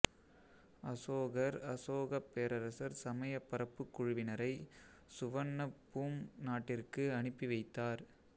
அசோகர்அசோகப் பேரரசர் சமயப்பரப்பு குழுவினரை சுவண்ணபூம் நாட்டிற்கு அனுப்பி வைத்தார்